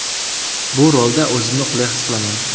Bu rolda o‘zimni qulay his qilaman.